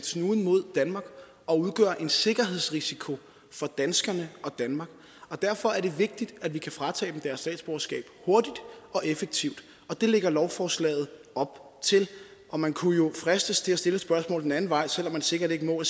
snuden mod danmark og udgøre en sikkerhedsrisiko for danskerne og danmark derfor er det vigtigt at vi kan fratage dem deres statsborgerskab hurtigt og effektivt det lægger lovforslaget op til og man kunne jo fristes til at stille et spørgsmål den anden vej selv om man sikkert ikke må og